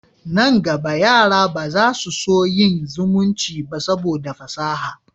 Nan gaba, yara ba za su so yin zumunci ba saboda fasaha